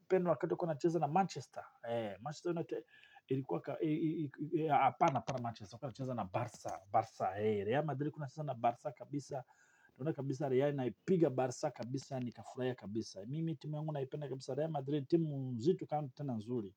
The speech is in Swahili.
kupenda wakato kuna cheza na Manchester. Hei, Manchester inate, ilikuwa ka, hei, hei, hapana para Manchester, wakana cheza na Barça, Barça, hei, Real Madrid kuna cheza na Barça, kabisa, kuna kabisa, rei, naipiga Barça, kabisa, nika furaya kabisa. Mimi, timu yangu naipenda kabisa, Real Madrid, timu zitu kanto tenazuri.